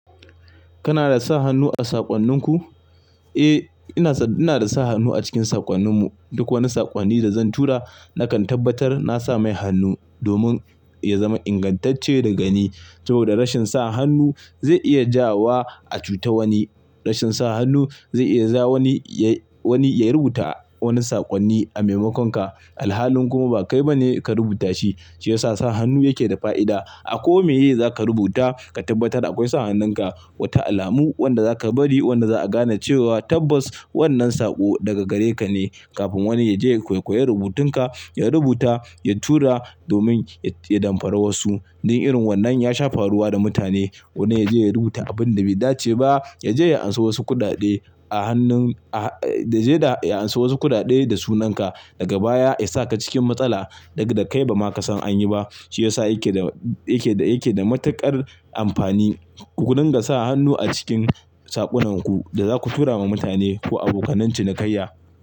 Kana da sa hannu a saƙonninku? Eh, ina da sa hannu a cikin saƙonnin mu. Duk wani saƙonni da zan tura nakan tabbatar na sa mai hannu domin ya zama ingantacce da gani. Saboda rashin sa hannu zai iya ja wa a cuta wani. Rashin sa hannu zai iya ja wani ya rubuta wani saƙonni a maimakonka. Alhalin kuma ba kai ba ne ka rubuta shi. Shi yasa sa hannu yake da fa'ida. A ko mi ye za ka rubuta ka tabbatar akwai sa hannunka, wata alamu wanda zaka bari wanda za'a gane cewa tabbas wannan saƙo daga gare ka ne. Kafin wani ya je ya kwaikwayi rubutun ka, ya rubuta, ya tura domin ya damfari wasu. Dan irin wannan ya shafa ruwa da mutane. Wanda ya je ya rubuta abun da bai dace ba, ya je ya anso wasu kuɗaɗe a hannun, ya je ya anso wasu kuɗaɗe da sunan ka, daga baya ya saka cikin matsala daga da kai ba ma ka san an yi ba. Shi yasa yake da matuƙar amfani ku dinga sa hannu a cikin saƙonnan ku da zaku tura ma mutane ko abokanancin kaiya.